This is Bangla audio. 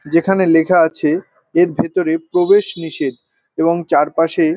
যেখানে লেখা আছে এর ভেতরে প্রবেশ নিষেধ এবং চারপাশে--